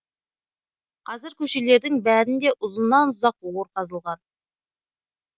қазір көшелердің бәрінде ұзыннан ұзақ ор қазылған